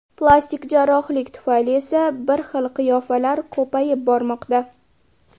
Plastik jarrohlik tufayli esa ‘bir xil’ qiyofalar ko‘payib bormoqda.